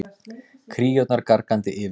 Kríurnar gargandi yfir.